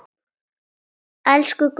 Elsku Gunnar.